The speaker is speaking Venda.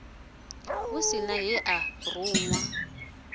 hu si he a runwa